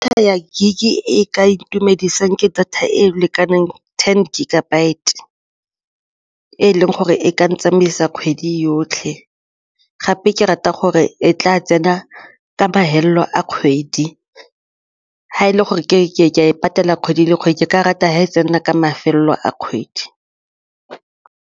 Ya gig-e e ka itumedisang ke data e e lekanang ten gigabyte, e leng gore e ka ntsamaisa kgwedi yotlhe gape ke rata gore e tla tsena ka mafelelo a kgwedi, ga e le gore ke a e patela kgwedi le kgwedi ke ka rata ga e tsena ka mafelelo a kgwedi.